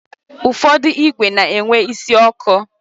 Ụfọdụ igwe na-enwe isi ọkụ.